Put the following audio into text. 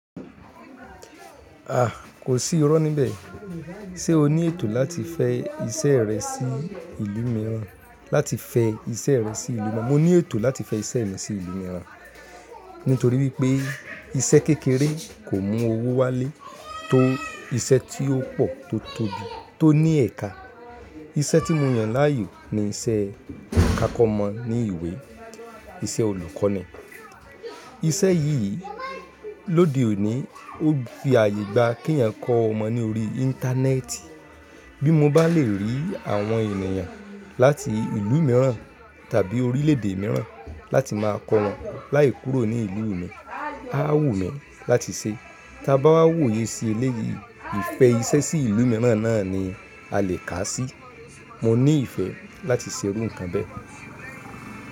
A! Kò sí irọ́ níbẹ̀. Ṣé o ní ètò láti fẹ iṣẹ́ rẹ sí ìlú mìíràn? Láti fẹ iṣẹ́ rẹ sí ìlú mìíràn. Mo ní ètò láti fẹ iṣẹ́ mi sí ìlú mìíràn, nítorí wípé iṣẹ́ kékeré kò mú owó wálé tó iṣẹ́ tí ó pò tó tóbi tó ní ẹ̀ka. Iṣẹ́ tí mo yàn láàyò ni iṣẹ́ kákọ́ ọmọ ní ìwé, iṣẹ́ olùkọ́ ni. Iṣẹ́ yìí lóde òní ó fi àyè gba kí ẹ̀yàn kọ ọmọ ní orí Íńtánẹ́ẹ̀tì. Bí mo bá lè rí àwọn ènìyàn láti ìlú mìíràn tàbí orílè èdè mìíràn láti má a kọ wọn láìkúrò ní ìlú mi, a á wù mí láti ṣe. Tá bá wà wòye sí eléyìí, ìfẹ iṣẹ́ sí ìlú mìíràn náà ni a lè kà á sí. Mo ní ìfẹ́ láti ṣe irú nǹkan bẹ́ẹ̀.